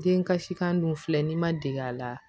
Den kasikan dun filɛ n'i ma dege a la